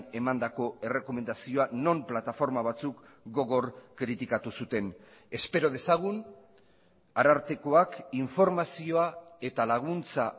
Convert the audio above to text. emandako errekomendazioa non plataforma batzuk gogor kritikatu zuten espero dezagun arartekoak informazioa eta laguntza